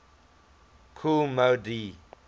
kool moe dee